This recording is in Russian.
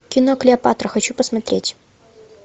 кино клеопатра хочу посмотреть